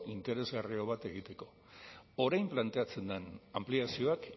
interesgarriago bat egiteko orain planteatzen den anpliazioak